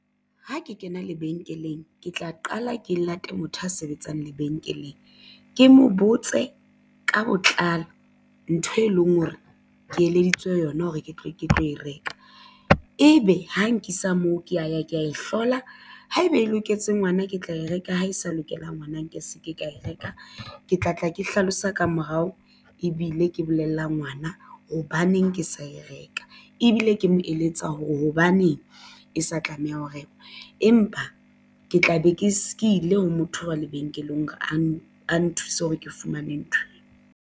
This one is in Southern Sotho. Ha ke kena lebenkeleng ke tla qala ke lata motho a sebetsang lebenkeleng ke mo botse ka botlalo ntho e leng hore ke eleditswe yona hore ke tle ke tlo e reka. Ebe ha nkisa moo ke ya ya ke ya e hlola haeba e loketse ngwana ke tla e reka ha e sa lokelang ngwana nke se ke ka e reka ke tla tla ke hlalosa ka morao ebile ke bolella ngwana hobaneng ke sa e reka ebile ke mo eletsa hore hobaneng e sa tlameha ho reka. Empa ke tla be ke ile ha motho wa lebenkeleng hore a ne a nthuse hore ke fumane ntho.